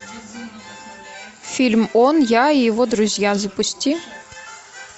фильм он я и его друзья запусти